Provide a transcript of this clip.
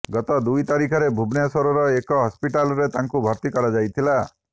ଗତ ଦୁଇ ତାରିଖରେ ଭୁବନେଶ୍ୱରର ଏକ ହସପିଟାଲରେ ତାଙ୍କୁ ଭର୍ତ୍ତି କରାଯାଇଥିଲା